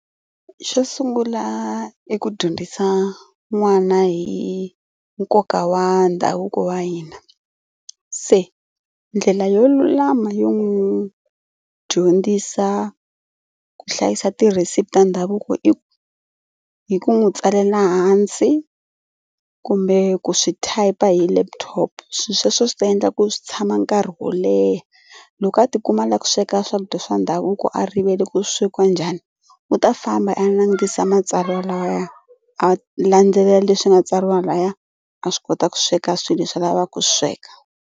Xo sungula i ku dyondzisa n'wana hi nkoka wa ndhavuko wa hina. Se ndlela yo lulama yo n'wi dyondzisa ku hlayisa tirhesipi ta ndhavuko i hi ku n'wi tsalela hansi kumbe ku swi type hi laptop. Swi sweswo swi ta endla ku swi tshama nkarhi wo leha loko a tikuma a lava ku sweka swakudya swa ndhavuko a rivele ku swekiwa njhani u ta famba a langutisa matsalwa laya a landzelela leswi nga tsariwa laya a swi kota ku sweka swilo leswi a lavaka ku swi sweka.